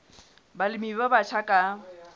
balemi ba batjha ba ka